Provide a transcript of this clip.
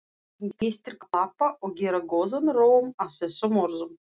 Gestir klappa og gera góðan róm að þessum orðum.